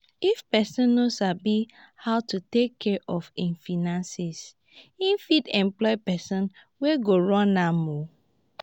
if person no sabi how to take care of im finances im fit employ person wey go run am um